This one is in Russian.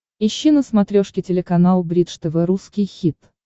ищи на смотрешке телеканал бридж тв русский хит